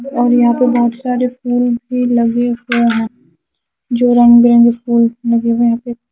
और यहाँ पे बहुत सारे फूल भी लगे हुए है जो रंग बी रंगे फूल लगे हुए है यहाँ पे--